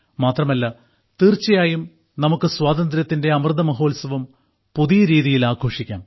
മാത്രമല്ല തീർച്ചയായും നമുക്ക് സ്വാതന്ത്ര്യത്തിന്റെ അമൃത മഹോത്സവം പുതിയ രീതിയിൽ ആഘോഷിക്കാം